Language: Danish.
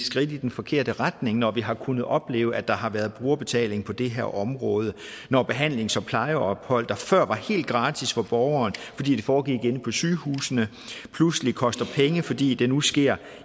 skridt i den forkerte retning når vi har kunnet opleve at der har været brugerbetaling på det her område når behandling som plejeophold der før var helt gratis for borgeren fordi det foregik inde på sygehusene pludselig koster penge fordi det nu sker